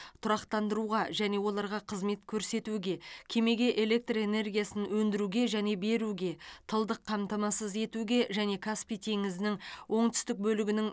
тұрақтандыруға және оларға қызмет көрсетуге кемеге электр энергиясын өндіруге және беруге тылдық қамтамасыз етуге және каспий теңізінің оңтүстік бөлігінің